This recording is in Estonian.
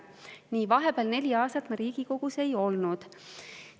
Nii, vahepeal neli aastat ma Riigikogus ei olnud.